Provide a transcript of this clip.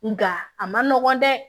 Nga a ma nɔgɔn dɛ